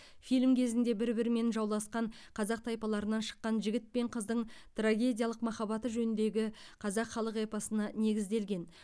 фильм кезінде бір бірімен жауласқан қазақ тайпаларынан шыққан жігіт пен қыздың трагедиялық махаббаты жөніндегі қазақ халық эпосына негізделген